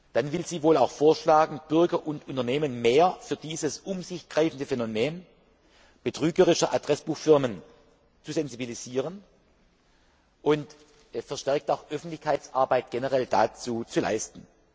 Dann will sie wohl auch vorschlagen, Bürger und Unternehmen mehr für dieses um sich greifende Phänomen betrügerischer Adressbuchfirmen zu sensibilisieren und verstärkt auch Öffentlichkeitsarbeit dazu zu leisten.